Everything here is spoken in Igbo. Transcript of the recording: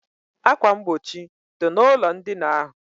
Akwa mgbochi dị n' ụlọ ndina ahụ